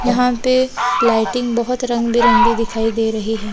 यहां पे लाइटिंग बहोत रंग बिरंगी दिखाई दे रही है।